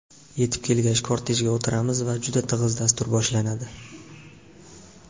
Yetib kelgach, kortejga o‘tiramiz va juda tig‘iz dastur boshlanadi.